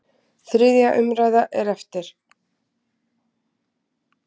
Þriðja umræða er eftir.